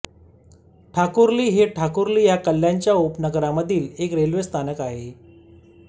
ठाकुर्ली हे ठाकुर्ली ह्या कल्याणच्या उपनगरामधील एक रेल्वे स्थानक आहे